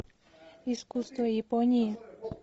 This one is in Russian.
искусство японии